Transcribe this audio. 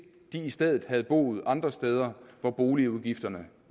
de i stedet havde boet andre steder hvor boligudgifterne